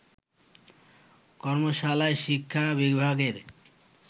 কর্মশালায় শিক্ষা বিভাগের